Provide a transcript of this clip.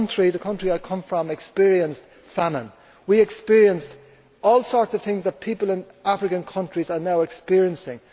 The country I come from experienced famine. We experienced all sorts of things that people in African countries are now experiencing.